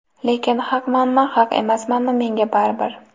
Lekin haqmanmi, haq emasmanmi, menga baribir.